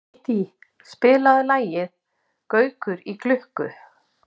Kittý, spilaðu lagið „Gaukur í klukku“.